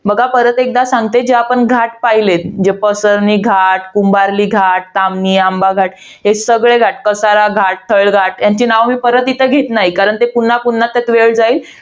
बघ परत एकदा सांगते, जे आपण घाट पाहिलेत. जे पसरली घाट, कुंभार्ली घाट, ताम्हिणी, आंबा घाट. हे सगळे कसारा घाट, खळ घाट. यांची नावं मी परत इथे घेत नाही. कारण ते पुन्हा पुन्हा इथे वेळ जाईल.